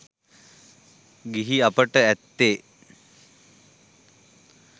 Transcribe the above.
ගිහි අපට ඇත්තේ